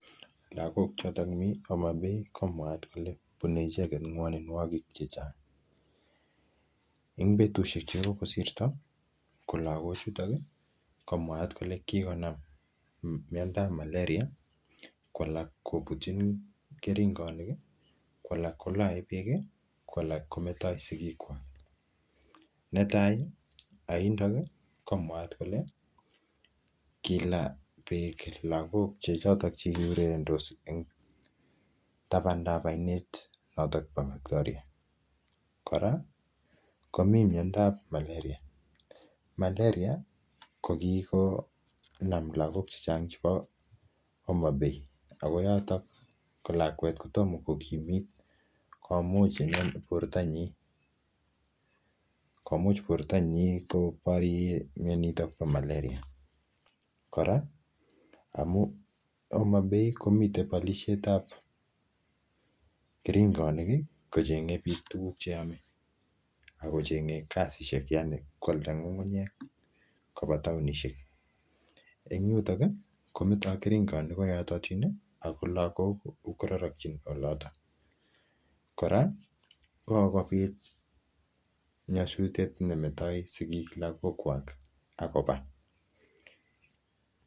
Lagok chotok mii Homa Bay, ko mwaat kole bune icheket ngwaninwokik chechang. Eng betushek che kokosirto, ko lagok chutok, ko mwaat kole kikonam myandap malaria, ko alak kobutchin keringonik, ko alak kolae beek, ko alak kometoi sigik kwaak. Netai, aindok, ko mwaat kole, kilaa beek lagok chechotok che kiurerendos eng tabandab ainet notok bo Victoria. Kora , komi myandap malaria. Malaria kokikonam lagok chechang chebo Homa Bay. Ako yotok, ko lakwet kotomo ko kimit, komuch inendet borto nyi. Komuch borto nyi koborye myonitok bo malaria. Kora, amuu Homa Bay komitei palishetab keringonik, kochenge biik tuguk cheame. Akochenge kasishek yaani, koalda ngungunyek kobo taonishek. Eng yutok, kometoi keringonik ko yototin, ako lagok kororokchin olotok. Kora, kokobit nyasutiet ne metoi sigik lagokwak akoba